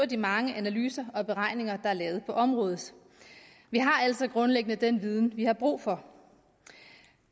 de mange analyser og beregninger der er lavet på området vi har altså grundlæggende den viden vi har brug for